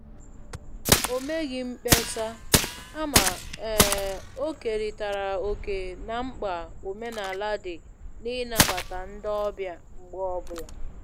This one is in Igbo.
O meghị mkpesa, kama um o keritara oke na mkpa omenala dị n' ịnabata ndị ọbịa mgbe ọ bụla